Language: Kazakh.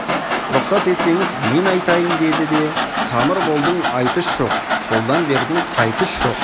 рұқсат етсеңіз мен айтайын деді де тамыр болдың айтыс жоқ қолдан бердің қайтыс жоқ